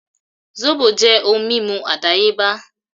Sóbò jẹ́ ohun mímu àdáyébá